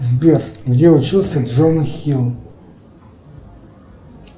сбер где учился джона хилл